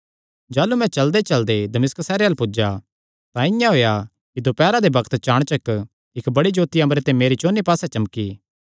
जाह़लू मैं चलदेचलदे दमिश्क सैहरे अल्ल पुज्जा तां इआं होएया कि दोपैरा दे बग्त चाणचक इक्क बड़ी जोत्ती अम्बरे ते मेरे चौंन्नी पास्से चमकी